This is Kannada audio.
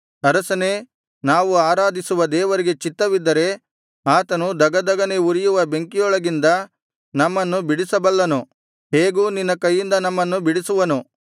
ಅರಸನೇ ನಾವು ಆರಾಧಿಸುವ ದೇವರಿಗೆ ಚಿತ್ತವಿದ್ದರೆ ಆತನು ಧಗಧಗನೆ ಉರಿಯುವ ಬೆಂಕಿಯೊಳಗಿಂದ ನಮ್ಮನ್ನು ಬಿಡಿಸಬಲ್ಲನು ಹೇಗೂ ನಿನ್ನ ಕೈಯಿಂದ ನಮ್ಮನ್ನು ಬಿಡಿಸುವನು